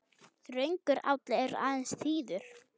Þröngur áll er aðeins þíður.